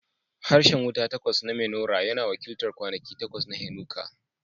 Harshen wuta takwas na menorah yana wakiltar kwanaki takwas na Hanukkah.